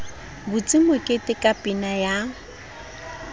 butse mokete ka pina ya